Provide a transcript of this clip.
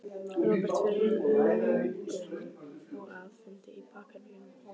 Róbert: Fyrir launung og að, fundi í bakherbergjum?